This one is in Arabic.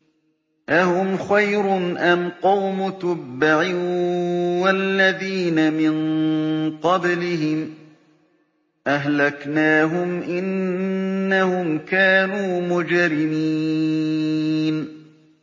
أَهُمْ خَيْرٌ أَمْ قَوْمُ تُبَّعٍ وَالَّذِينَ مِن قَبْلِهِمْ ۚ أَهْلَكْنَاهُمْ ۖ إِنَّهُمْ كَانُوا مُجْرِمِينَ